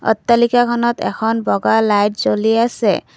অট্টালিকাখনত এখন বগা লাইট জ্বলি আছে।